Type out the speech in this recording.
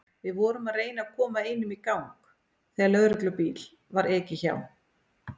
Við vorum að reyna að koma einum í gang þegar lögreglubíl var ekið hjá.